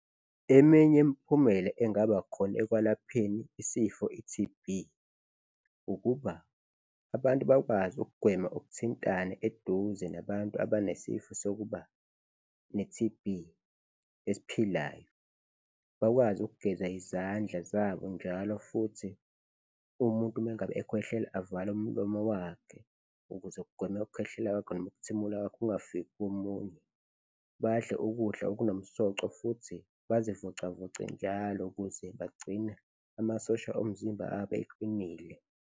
Eminye imiphumela engaba khona ekwalapheni isifo i-T_B ukuba abantu bakwazi ukugwema ukuthintana eduze nabantu abanesifo sokuba ne-T_B esiphilayo, bakwazi ukugeza izandla zabo njalo futhi umuntu mengabe ekhwehlela avale umlomo wakhe ukuze kugweme ukukhwehlela kwakhe noma ukuthimula kwakhe kungafiki komunye, badle ukudla okunomsoco futhi bazivocavoce njalo ukuze bagcine amasosha omzimba abe eqinile.